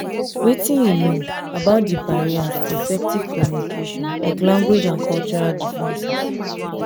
wetin you know about di barriers to effective communication like language and cultural differences?